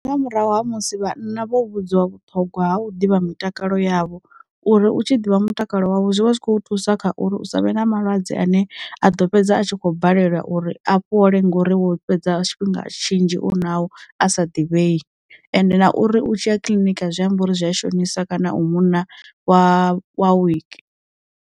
Ndi nga murahu ha musi vhanna vho vhudziwa vhuṱhogwa ha u ḓivha mutakalo yavho, uri u tshi ḓivha mutakalo wavho zwivha zwikho thusa kha uri hu savhe na malwadze ane a ḓo fhedza a tshi kho balela uri afhole ngori wo fhedza tshifhinga tshinzhi u na o a sa divhei ende na uri u tshiya kiḽiniki zwi amba uri zwi a shonisa kana u munna wa wa wiki.